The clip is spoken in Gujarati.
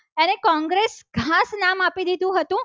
કોંગ્રેસ ઘાસના નામ આપી દીધું હતું.